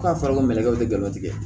Ko a fɔra ko minɛ kɛ u tɛ galon tigɛ